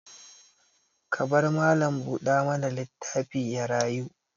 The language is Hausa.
Ka bar mallam buɗa mana litaffin ya rayu.